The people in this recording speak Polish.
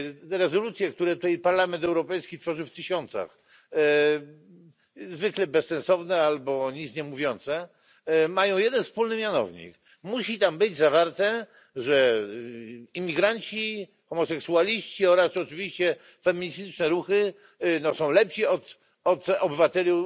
Te rezolucje, które tutaj Parlament Europejski tworzy w tysiącach zwykle bezsensowne albo nic niemówiące mają jeden wspólny mianownik musi tam być zawarte, że imigranci, homoseksualiści oraz oczywiście feministyczne ruchy są lepsi od obywateli